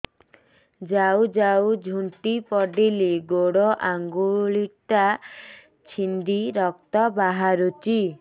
ଯାଉ ଯାଉ ଝୁଣ୍ଟି ପଡ଼ିଲି ଗୋଡ଼ ଆଂଗୁଳିଟା ଛିଣ୍ଡି ରକ୍ତ ବାହାରୁଚି